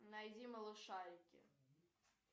найди малышарики